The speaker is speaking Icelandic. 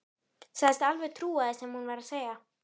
Sagðist alveg trúa því sem hún var að segja.